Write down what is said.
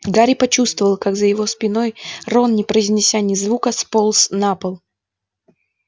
гарри почувствовал как за его спиной рон не произнеся ни звука сполз на пол